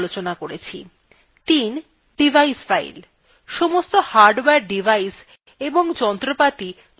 ৩ device files: সমস্ত hardware device এবং যন্ত্রপাতি linux এই files হিসেবে বোঝানো হয়